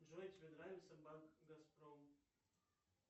джой тебе нравится банк газпром